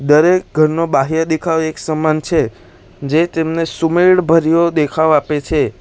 દરેક ઘરનો બાહ્ય દેખાવ એક સમાન છે જે તેમને સુમેળ ભર્યો દેખાવ આપે છે.